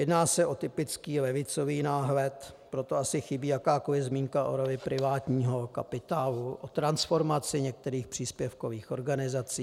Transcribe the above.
Jedná se o typický levicový náhled, proto asi chybí jakákoli zmínka o roli privátního kapitálu, o transformaci některých příspěvkových organizací.